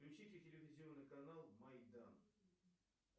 включите телевизионный канал майдан